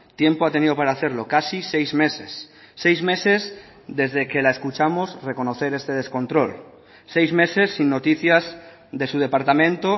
tiempo ha tenido para hacerlo casi seis meses seis meses desde que la escuchamos reconocer este descontrol seis meses sin noticias de su departamento